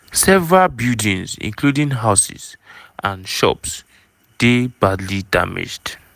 several buildings including houses and shops dey badly damaged.